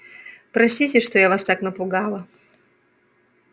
простите что я вас так напугала